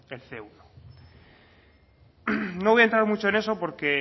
el ce uno no voy a entrar mucho en eso porque